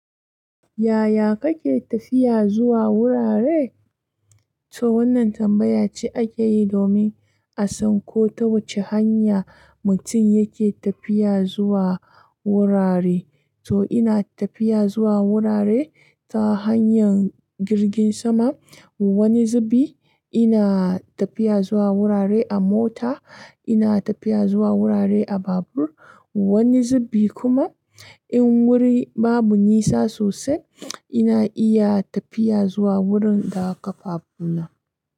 Yaya kake tafiya zuwa wurare? To wannan tambaya ce ake yi domin a san ko ta wace hanya mutum yake tafiya zuwa wurare. To ina tafiya zuwa wurare ta hanyar jirgin sama, wani zubi ina tafiya zuwa wurare a mota, ina tafiya zuwa wurare a babur, wani zubi kuma in wuri babu nisa sosai ina iya tafiya zuwa wurin da ƙafafuna.